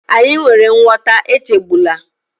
Anyị nwere nghọta, echegbula